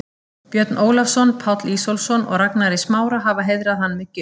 Björn Ólafsson, Páll Ísólfsson og Ragnar í Smára, hafa heiðrað hann með gjöf.